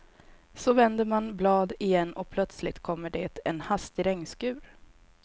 Så vänder man blad igen och plötsligt kommer det en hastig regnskur.